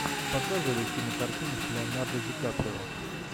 показывай кинокартину с леонардо ди каприо